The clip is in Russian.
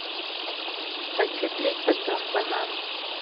хочу триста грамм бананов